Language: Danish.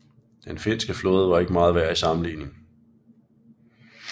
Den finske flåde var ikke meget værd i sammenligning